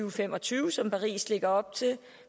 og fem og tyve som paris lægger op til